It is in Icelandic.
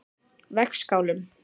Vegskálum